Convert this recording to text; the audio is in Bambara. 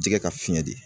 Jɛgɛ ka fiɲɛ di